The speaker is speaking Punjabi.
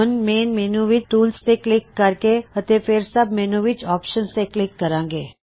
ਹੁਣ ਮੇਨ ਮੈੱਨੂ ਵਿੱਚ ਟੂਲਸ ਤੇ ਕਲਿੱਕ ਕਰਾਂਗੇ ਅਤੇ ਫੇਰ ਸੱਬ ਮੈੱਨੂ ਵਿੱਚ ਆਪਸ਼ਨਜ਼ ਤੇ ਕਲਿੱਕ ਕਰਾਂਗੇ